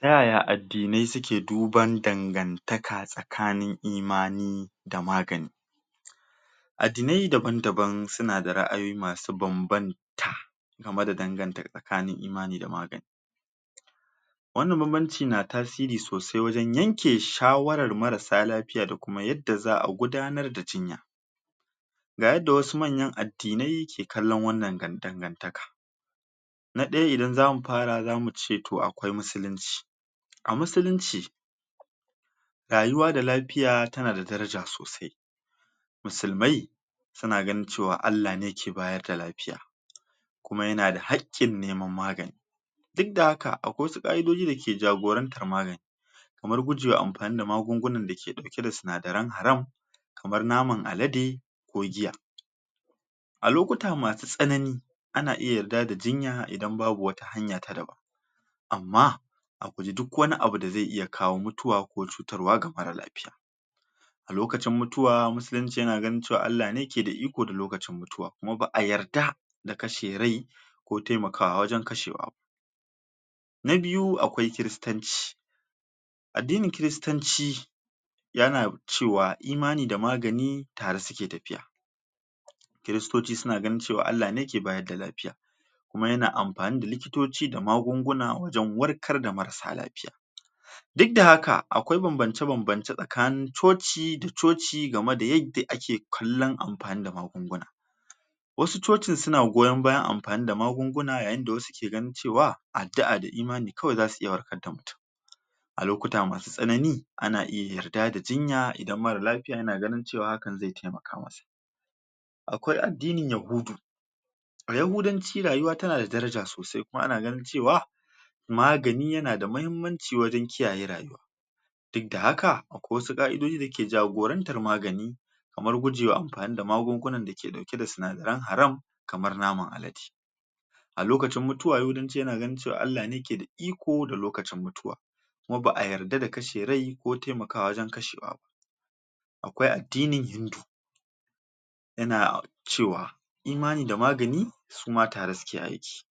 Ta yaya addinai suke duban dangantaka tsakanin imani da magani addinai daban-daban suna da ra'ayoyi masu banbanta game da danganta tsakanin imani da magani wannan banbanci na tasiri sosai wajen yanke shawara marasa lafiya da kuma yadda za'a gudanar da jinya ga yadda wasu manyan addinai ke kalon wannan dangantaka na ɗaya idan zamu fara zamu ce to akwai musulunci a musulunci rayuwa da lafiya tana da daraja sosai musulmai suna ganin cewa Allah ne ke bayar da lafiya kuma yana da haƙƙin neman magani duk da haka akwai wasu ƙa'idoji da ke jagorantar magani kamar gujewa amfani magungunan da ke ɗauke da sinadaran haram kamar naman alade ko giya a lokuta masu tsanani ana iya yarda da jinya idan babu wata hanya ta daban amma a guji duk wani abu da zai iya kawo mutuwa ko cutarwa ga mara lafiya a lokacin mutuwa musulunci yana ganin cewa Allah ne ke iko da lokacin mutuwa kuma ba'a yarda da kashe rai ko taimakawa wajen kashewa na biyu, akwai kiristanci addinin kiristanci yana cewa imani da magani tare suke tafiya kiristoci suna ganin cewa Allah ne ke bayar da lafiya kuma yana amfani da likitoci da magunguna wajen warkar da marasa lafiya duk da haka akwai banbance-banbance tsakanin coci da coci game da yadda ake kallon amfani da magunguna wasu cocin suna goyon bayan amfani da magunguna yayin da wasu ke ganin cewa addu'a da imani kawai zasu iya warkar da mutun a lokuta masu tsanani ana iya yarda da jinya idan mara lafiya yana ganin cewa hakan zai taimaka masa akwai addinin yahudu a yahudanci rayuwa tana da daraja sosai kuma ana ganin cewa magani yana da mahimmanci wajen kiyaye rayuwa duk da haka akwai wasu ka'idoji da yake jagorantar magani kamar gujewa amfani da magungunan dake ɗauke da sinadaran haram kamar naman alade a lokacin mutuwa yahudanci yana ganin cewa Allah ne ke da iko da lokacin mutuwa kuma ba'a yarda da kashe rai ko taimakawa wajen kashewa ba akwai addinin yana cewa imani da magani su ma tare suke aiki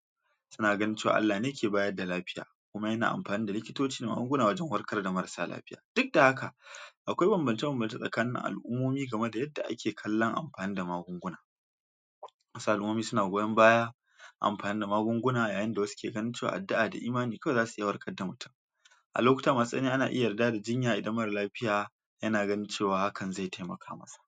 suna ganin cewa Allah ne ke bayar da lafiya kuma yana amfani da likitoci da magunguna wajen warkar da marasa lafiya duk da haka akwai banbance-banbance tsakanin al'ummomi game da yadda ake kallon amfani da magunguna wasu al'ummomi suna goyon baya amfani da magunguna yayin da wasu ke ganin cewa addu'a da imani kawai zasu iya warkar da mutun a lokuta masu tsanani ana iya yarda da jinya idan mara lafiya yana ganin cewa hakan zai taimaka masa.